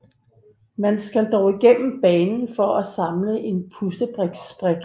Man skal dog igennem banen for at samle en puslespils brik